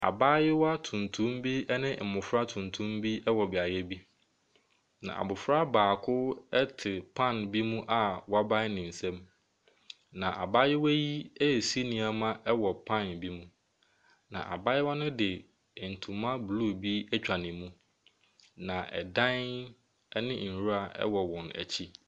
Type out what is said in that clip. Abayewa tuntum bi ne mmɔfra tuntum bi wɔ beaeɛ bi, na abɔfra baako te pan bi mu a wabae ne nsam, na abayewa yi resi nneɛma wɔ pan bi mu, na abayewa no de ntoma blue bi atwa ne mu, na dan ne nwura wɔ wɔn akyi.